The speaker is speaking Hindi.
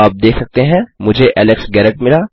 आप देख सकते हैं मुझे एलेक्स गैरेट मिला